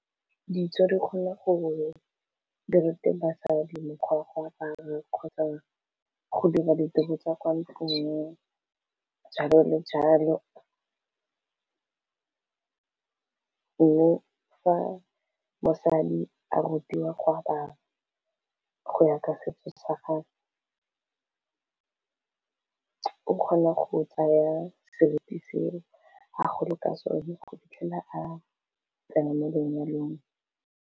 Ditso di kgone gore dirute basadi mokgwa wa go apara kgotsa go dira ditiro tsa kwa ntlong jalo le jalo, mme fa mosadi a rutiwa gwa apara go ya ka setso sa gagwe o kgona go tsaya seriti seo a gola ka sone go fitlhela a tsene mo lenyalong.